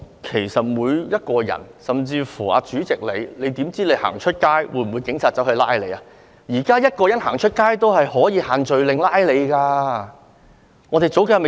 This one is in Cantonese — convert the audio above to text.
其實，所有人，包括主席都不知道出外會否被警察拘捕，現在也有人外出時因違反"限聚令"而被票控。